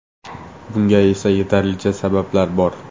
Bunga esa yetarlicha sabablar bor.